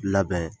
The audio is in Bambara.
Labɛn